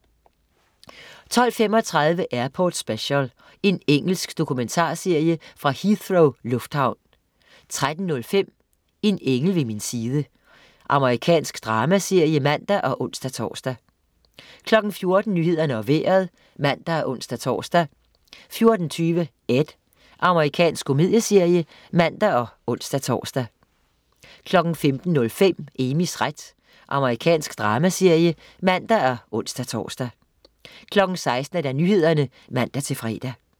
12.35 Airport Special. Engelsk dokumentarserie fra Heathrow lufthavn 13.05 En engel ved min side. Amerikansk dramaserie (man og ons-tors) 14.00 Nyhederne og Vejret (man og ons-tors) 14.20 Ed. Amerikansk komedieserie (man og ons-tors) 15.05 Amys ret. Amerikansk dramaserie (man og ons-tors) 16.00 Nyhederne (man-fre)